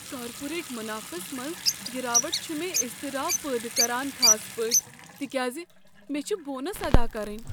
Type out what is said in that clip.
Corporate منافس منٛز گراوٹ چھ مےٚ اضطراب پٲدٕ کران خاص پٲٹھۍ تکیاز مےٚ چھِ بونس ادا کرٕنۍ۔